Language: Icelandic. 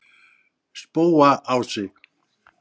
Spóaási